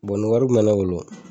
Bɔ ni wari tun bɛ ne bolo